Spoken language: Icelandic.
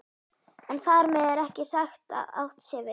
En þar með er ekki sagt að átt sé við